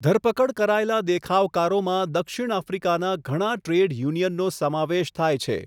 ધરપકડ કરાયેલા દેખાવકારોમાં દક્ષિણ આફ્રિકાના ઘણા ટ્રેડ યુનિયનનો સમાવેશ થાય છે.